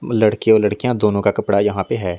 लड़के और लड़कियां दोनों का कपड़ा यहां पे है।